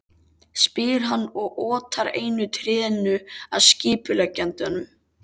spyr hann og otar einu trénu að skipuleggjandanum.